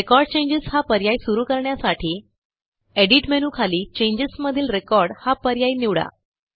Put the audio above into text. record changes हा पर्याय सुरू करण्यासाठी एडिट मेनूखाली चेंजेस मधील रेकॉर्ड हा पर्याय निवडा